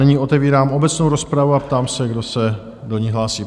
Nyní otevírám obecnou rozpravu a ptám se, kdo se do ní hlásí?